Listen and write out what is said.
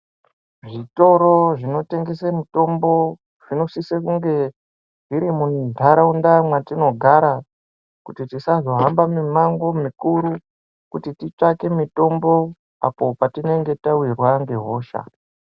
Zvitoro zvinotengese mutombo zvinosise kunge zviri muntaraunda mwatinogara kuti tisazohamba mimango mikuru kuti titsvake mutombo apo patinenge tawirwa ngehosha.